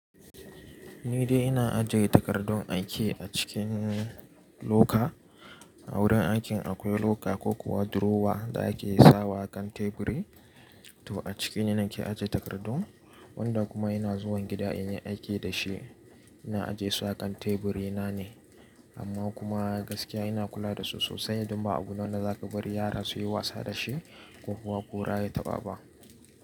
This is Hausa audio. Ni dai ina ajiye takardun aiki a cikin loka. A wurin aikin akwai loka ko kuwa durowa da ake sawa kan teburi, to a ciki ne nake ajiye takardun. Wanda kuma ina zuwa gida in yi aiki da shi, ina ajiyesu a kan teburi na ne. Amma kuma gaskiya ina kula dasu sosai don ba abu ne wadda za ka bari yara su yi wasa da shi ko kuwa ƙura ya taɓa ba.